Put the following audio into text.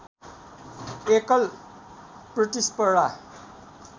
एकल प्रतिस्पर्धा